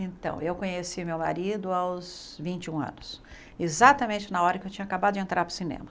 Então, eu conheci meu marido aos vinte e um anos, exatamente na hora que eu tinha acabado de entrar para o cinema.